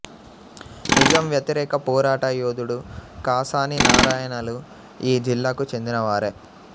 నిజాం వ్యతిరేక పోరాట యోధుడు కాసాని నారాయణలు ఈ జిల్లాకు చెందినవారే